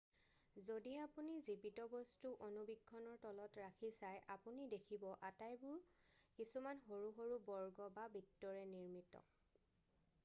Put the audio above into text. যদি আপুনি জীৱিত বস্তু অনুবীক্ষণৰ তলত ৰাখি চাই আপুনি দেখিব আটাইবোৰ কিছুমান সৰু সৰু বৰ্গ বা বিত্তৰে নিৰ্মিত